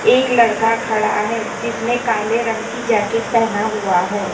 एक लड़का खड़ा है जिसने काले रंग की जैकेट पहना हुआ है।